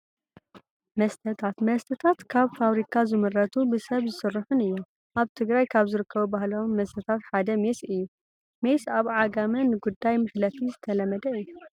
መስተታት፡- መስተታት ካብ ፋብሪካ ዝምረቱን ብሰብ ዝስርሑን እዮም፡፡ ኣብ ትግራይ ካብ ዝርከቡ ባህላዊ መስተታት ሓደ ሜስ እዩ፡፡ ሜስ ኣብ ዓጋመ ንጉዳይ መሕለፊ ዝተለመደ እዩ፡፡